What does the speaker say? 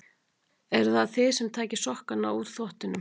Eruð það þið sem takið sokkana úr þvottinum?